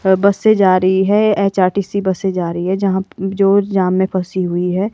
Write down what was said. है बस से जा रही है एच_आर_टी_सी बस से जा रही है जहां जो जाम में फंसी हुई है।